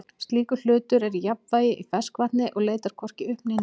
slíkur hlutur er í jafnvægi í ferskvatni og leitar hvorki upp né niður